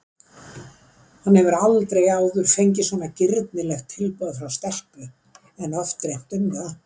Hann hefur aldrei áður fengið svona girnilegt tilboð frá stelpu en oft dreymt um það.